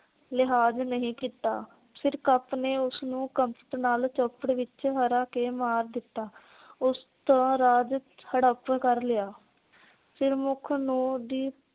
ਲਿਹਾਜ ਨਹੀਂ ਕੀਤਾ। ਸਿਰਕਪ ਨੇ ਉਸ ਨੂੰ ਕਫ਼ਤ ਨਾਲ ਚੋਪੜ ਵਿਚ ਹਰਾ ਕੇ ਮਾਰ ਦਿੱਤਾ। ਉਸ ਦਾ ਰਾਜ ਹੜਪ ਕਰ ਲਿਆ। ਸਿਰਮੁਖ ਨੂੰ ਦੀ